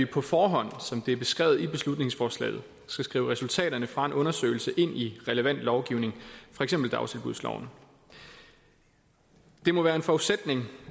på forhånd som det er beskrevet i beslutningsforslaget skal skrive resultaterne fra en undersøgelse ind i relevant lovgivning for eksempel dagtilbudsloven det må være en forudsætning